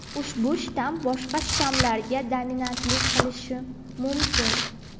ushbu shtamm boshqa shtammlarga dominantlik qilishi mumkin.